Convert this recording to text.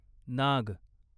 नाग